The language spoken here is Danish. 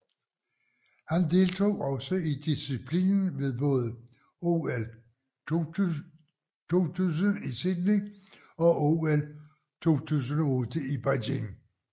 Han deltog også i disciplinen ved både OL 2000 i Sydney og OL 2008 i Beijing